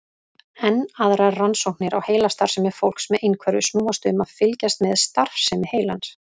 Enn aðrar rannsóknir á heilastarfsemi fólks með einhverfu snúast um að fylgjast með starfsemi heilans.